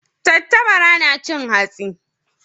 Tattabara na cin hatsi.